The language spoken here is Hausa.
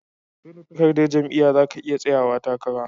Seda takardar jam'iya zaka iya tsayawa takara